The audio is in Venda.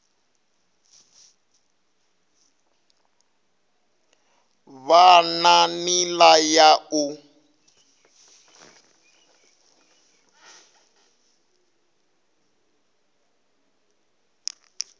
vhe na nila ya u